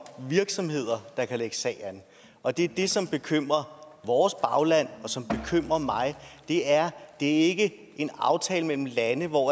virksomheder der kan lægge sag an og det er det som bekymrer vores bagland og som bekymrer mig det er ikke en aftale mellem lande hvor